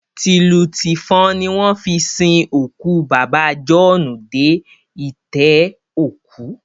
Tìlù tìfọn ni wọ́n fi sin òkú bàbá jọ̀ọ́ọ́nù dé itẹ́ òkú